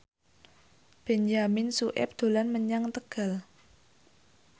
Benyamin Sueb dolan menyang Tegal